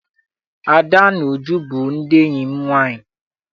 Ada na Uju bụ ndị enyi m nwaanyị.